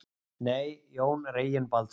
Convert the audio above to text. Nei, Jón Reginbaldsson.